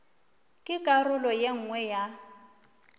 ke karolo ye nngwe ya